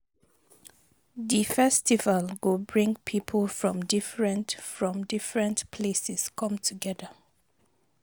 Di festival go bring people from different from different places come together.